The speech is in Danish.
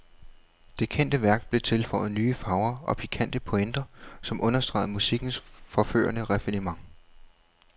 Det kendte værk blev tilføjet nye farver og pikante pointer, som understregede musikkens forførende raffinement.